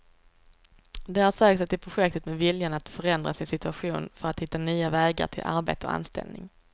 De har sökt sig till projektet med viljan att förändra sin situation för att hitta nya vägar till arbete och anställning.